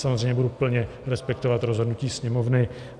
Samozřejmě budu plně respektovat rozhodnutí Sněmovny.